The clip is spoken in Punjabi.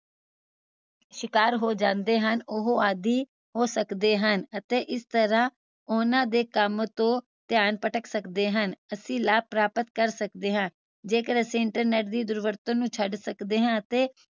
ਜੋ ਲੋਕ ਇਸਦਾ ਸ਼ਿਕਾਰ ਹੋ ਜਾਂਦੇ ਹਨ ਉਹ ਇਸਦਾ ਆਦਿ ਹੋ ਸਕਦੇ ਹਨ ਅਤੇ ਇਸ ਤਰਾਹ ਉਹਨਾਂ ਦੇ ਕਾਮ ਤੋਂ ਧਿਆਨ ਭਟਕ ਸਕਦੇ ਹਨ ਅਸੀਂ ਲਾਭ ਪ੍ਰਾਪਤ ਕਰ ਸਕਦੇ ਹਾਂ ਜੇਕਰ ਅਸੀਂ internet ਦੀ ਦੁਰਵਰਤੋਂ ਨੂੰ ਛੱਡ ਸਕਦੇ ਹਾਂ ਤੇ